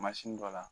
Mansin dɔ la